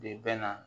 De bɛ na